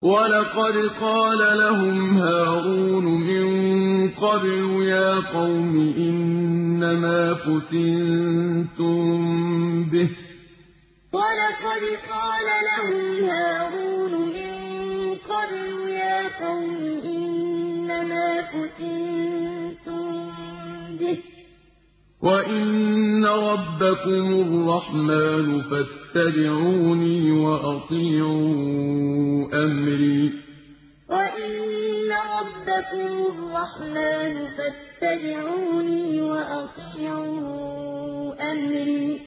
وَلَقَدْ قَالَ لَهُمْ هَارُونُ مِن قَبْلُ يَا قَوْمِ إِنَّمَا فُتِنتُم بِهِ ۖ وَإِنَّ رَبَّكُمُ الرَّحْمَٰنُ فَاتَّبِعُونِي وَأَطِيعُوا أَمْرِي وَلَقَدْ قَالَ لَهُمْ هَارُونُ مِن قَبْلُ يَا قَوْمِ إِنَّمَا فُتِنتُم بِهِ ۖ وَإِنَّ رَبَّكُمُ الرَّحْمَٰنُ فَاتَّبِعُونِي وَأَطِيعُوا أَمْرِي